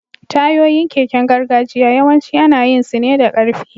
Tayoyin keken gargajiya yawanci ana yin su ne da ƙarfe.